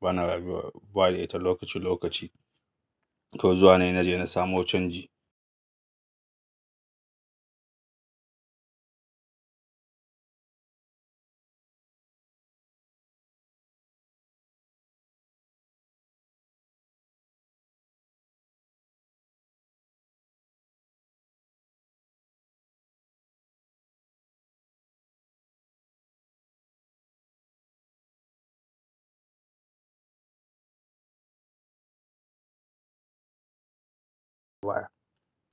bana rabuwa da ita lokaci lokaci to zuwa na naje na samo canji.